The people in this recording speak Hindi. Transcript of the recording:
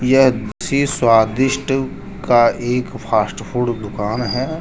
यह किसी स्वादिष्ट का एक फास्ट फूड दुकान है।